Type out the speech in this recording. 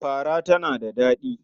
Fara tana da daɗi.